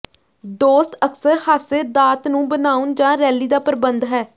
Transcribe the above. ਦੋਸਤ ਅਕਸਰ ਹਾਸੇ ਦਾਤ ਨੂੰ ਬਣਾਉਣ ਜ ਰੈਲੀ ਦਾ ਪ੍ਰਬੰਧ ਹੈ